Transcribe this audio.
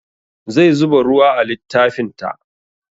Zai zuba ruwa a littafin ta